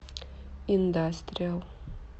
индастриал